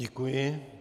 Děkuji.